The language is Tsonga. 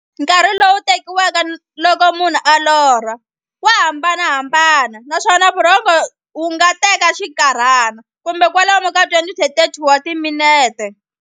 Nkarhi lowu tekiwaka loko munhu a lorha, wa hambanahambana, naswona norho wu nga teka xinkarhana, kumbe kwalomu ka 20 to 30 wa timinete.